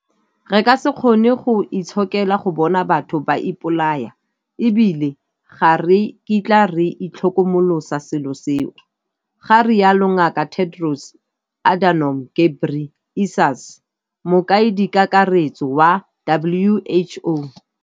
Re ka se kgone go itshokela go bona batho ba ipolaya - e bile ga re kitla re itlhokomolosa selo seo, ga rialo Ngaka Tedros Adhanom Ghebrey esus, Mokaedikakaretso wa WHO.